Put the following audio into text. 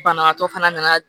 Banabaatɔ fana nana